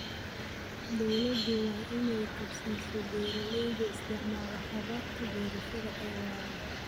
Dawladdu waa in ay kab siiso beeralayda isticmaala hababka beerashada ee waara.